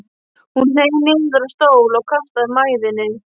Hún hneig niður á stól og kastaði mæðinni.